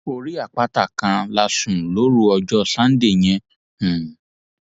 orí àpáta kan la sùn lóru ọjọ sànńdẹ yẹn um